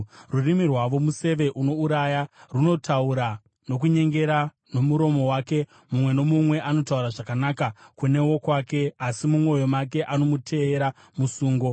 Rurimi rwavo museve unouraya; runotaura nokunyengera. Nomuromo wake mumwe nomumwe anotaura zvakanaka kune wokwake, asi mumwoyo make anomuteyera musungo.